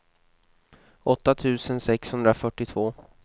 åtta tusen sexhundrafyrtiotvå